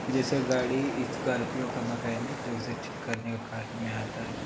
जेसे गाड़ी स्क्रोपिओ का मैकेनिक जो उसे ठीक करने के काम में आता हैं।